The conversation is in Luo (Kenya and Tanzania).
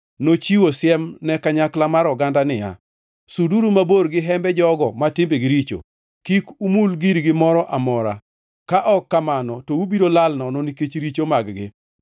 Nochiwo siem ne kanyakla mar oganda niya, “Suduru mabor gi hembe jogo ma timbegi richo! Kik umul girgi moro amora, ka ok kamano to ubiro lal nono nikech richo mag-gi.”